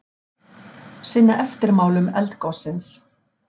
Sinna eftirmálum eldgossins